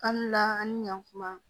Kan an ni ɲan kuma